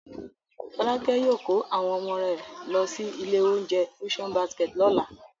Fọ́lákẹ́ yóò kó àwọn ọmọ rẹ̀ lọ sí ilé-oúnjẹ Ocean Basket lọ́la.